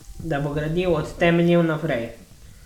Da bo gradil od temeljev naprej.